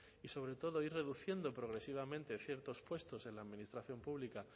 y sobre todo ir reduciendo progresivamente ciertos puestos en la administración pública